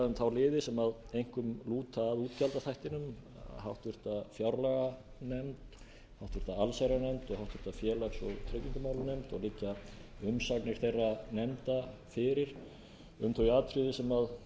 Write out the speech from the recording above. um þá liði sem einkum lúta að útgjaldaþættinum háttvirtri fjárlaganefnd háttvirta allsherjarnefnd og háttvirtur félags og tryggingamálanefnd og liggja umsagnir þeirra nefnda fyrir um þau atriði sem að